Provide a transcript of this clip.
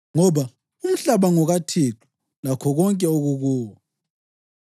ngoba, “Umhlaba ngokaThixo, lakho konke okukuwo.” + 10.26 AmaHubo 24.1